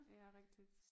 Ja rigtigt